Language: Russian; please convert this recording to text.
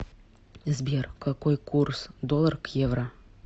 сбер какой курс доллар к евро